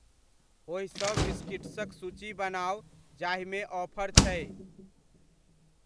ओहि सब बिस्किट्सक सूची बनाउ जाहिमे ऑफर छै।